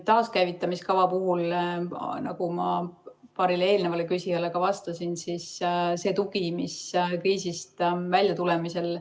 Taaskäivitamise kava, nagu ma paarile eelnevale küsijale ka vastasin, on tugi kriisist väljatulemisel.